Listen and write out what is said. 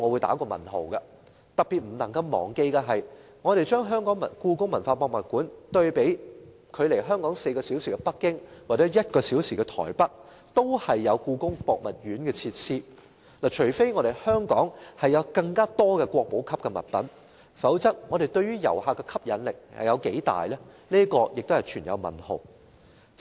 特別不能忘記的是，距離香港4小時飛機航程的北京及1小時飛機航程的臺北都有故宮博物院，除非故宮館有更多國寶級展品，否則對於遊客的吸引力有多大也是未知數。